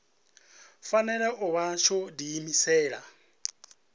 fanela u vha tsho diimisela